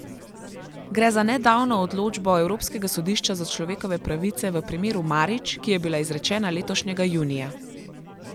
Gre za nedavno odločbo Evropskega sodišča za človekove pravice v primeru Marić, ki je bila izrečena letošnjega junija.